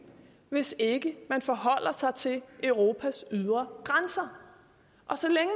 hvis ikke man forholder sig til europas ydre grænser og så længe